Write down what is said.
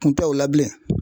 Kun tɛ o la bilen.